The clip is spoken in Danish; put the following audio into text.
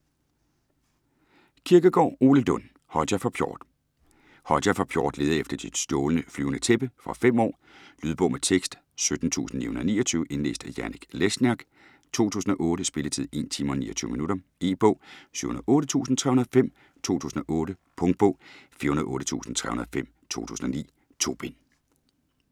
Kirkegaard, Ole Lund: Hodja fra Pjort Hodja fra Pjort leder efter sit stjålne flyvende tæppe. Fra 5 år. Lydbog med tekst 17929 Indlæst af Janek Lesniak, 2008. Spilletid: 1 timer, 29 minutter. E-bog 708305 2008. Punktbog 408305 2009. 2 bind.